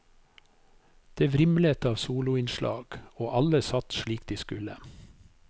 Det vrimlet av soloinnslag, og alle satt slik de skulle.